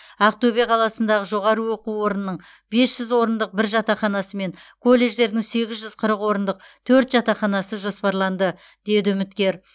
ақтөбе қаласындағы жоғары оқу орнының бес жүз орындық бір жатақханасы мен колледждердің сегіз жүз қырық орындық төрт жатақханасы жоспарланды деді үміткер